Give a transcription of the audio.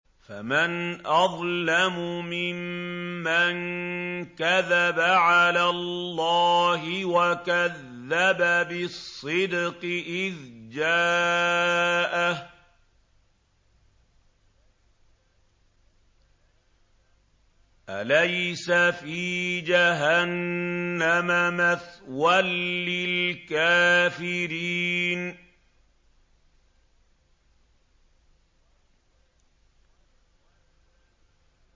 ۞ فَمَنْ أَظْلَمُ مِمَّن كَذَبَ عَلَى اللَّهِ وَكَذَّبَ بِالصِّدْقِ إِذْ جَاءَهُ ۚ أَلَيْسَ فِي جَهَنَّمَ مَثْوًى لِّلْكَافِرِينَ